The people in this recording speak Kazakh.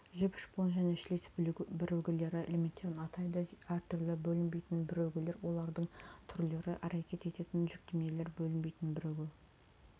жіп шпон және шлиц бірігулері элементтерін атайды әртүрлі бөлінбейтін бірігулер олардың түрлері әрекет ететін жүктемелер бөлінбейтін бірігу